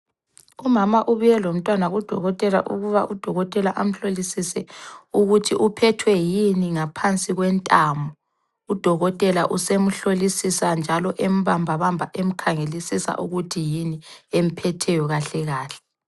Umama ubuye lomntwana kudokotela ukuba udokotela amhlolisise ukuthi uphethwe yini ngaphansi kwentamo. Udokotela usemhlolisisa njalo embambabamba emkhangelisisa ukuthi yini emphetheyo kahle kahle.